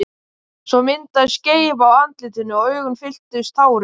Svo myndaðist skeifa á andlitinu og augun fylltust tárum.